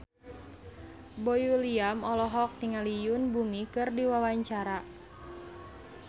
Boy William olohok ningali Yoon Bomi keur diwawancara